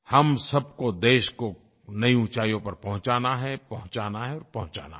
हम सबको देश को नयी ऊँचाइयों पर पहुँचाना है पहुँचाना है और पहुँचाना है